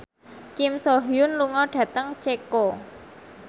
Kim So Hyun lunga dhateng Ceko